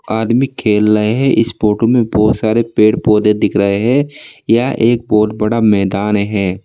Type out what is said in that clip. आदमी खेल रहे हैं इस फोटो में बहुत सारे पेड़ पौधे दिख रहे हैं यह एक बहुत बड़ा मैदान है।